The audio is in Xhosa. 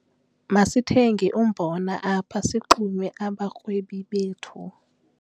Masithenge umbona apha sixume abarhwebi bethu.